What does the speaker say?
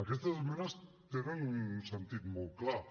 aquestes esmenes tenen un sentit molt clar